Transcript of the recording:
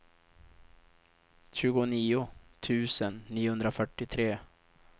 tjugonio tusen niohundrafyrtiotre